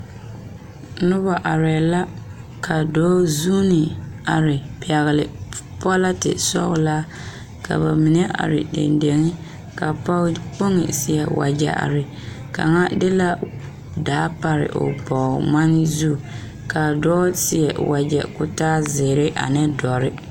Noba arɛɛ la ka dɔɔ zuune are pɛgele pɔlɛte sɔgelaa ka ba mine are dendeŋe ka pɔge kpoŋi seɛ wagyɛ are kaŋa de la daa pare o bɔɔŋmane zu ka dɔɔ seɛ wagyɛ ka o taa zeere ane dɔre